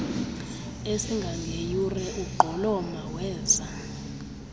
esingangeyure ugqoloma weza